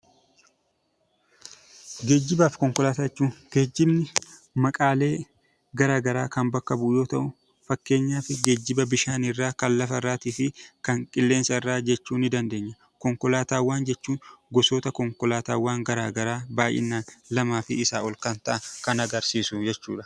Geejjibni maqaalee garaagaraa kan bakka bu'u yoo ta'u, fakkeenyaaf geejjiba bishaanirraa, kan lafarraa fi kan qilleensarraa jechuu ni dandeenya. Konkolaataawwan jechuun gosoota konkolaataawwan garaagaraa baay'inaan lamaa fi isaa ol kan ta'an kan agarsiisudha.